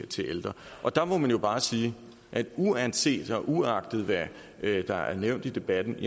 til ældre der må man jo bare sige at uanset og uagtet hvad der er nævnt i debatten